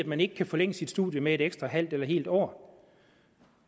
man ikke kan forlænge sit studium med et ekstra halvt eller helt år